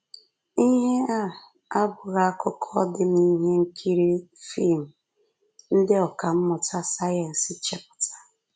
Ihe a abụghị akụkọ dị n’ihe nkiri fim ndị ọkà mmụta sayensị chepụtara